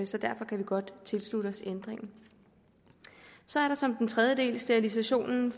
så derfor kan vi godt tilslutte os ændringen så er der som den tredje del sterilisation